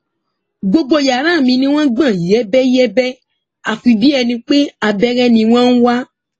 gbogbo yàrá mi ni wọn gbọn yẹbẹyẹbẹ àfi bíi ẹni pé abẹrẹ ni wọn ń wá